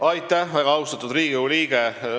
Aitäh, väga austatud Riigikogu liige!